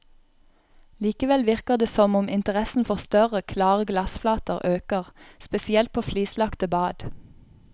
Likevel virker det som om interessen for større, klare glassflater øker, spesielt på flislagte bad.